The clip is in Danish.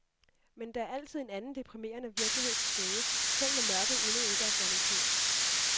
Men der er altid en anden deprimerende virkelighed til stede, selv når mørket endnu ikke er faldet på.